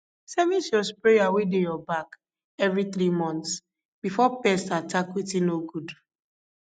service your sprayer wey dey your back every three months before pests attack wetin no good